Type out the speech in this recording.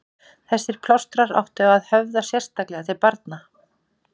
Þessir plástrar áttu að höfða sérstaklega til barna.